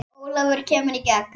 Ólafur kemur í gegn.